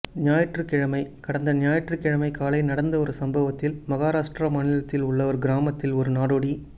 ஞாயிற்றுக்கிழமை கடந்த ஞாயிற்றுக்கிழமை காலை நடந்த ஒரு சம்பவத்தில் மகாராஷ்டிரா மாநிலத்தில் உள்ள ஒரு கிராமத்தில் ஒரு நாடோடி